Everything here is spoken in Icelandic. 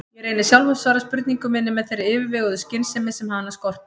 Ég reyni sjálf að svara spurningu minni með þeirri yfirveguðu skynsemi sem hana skortir.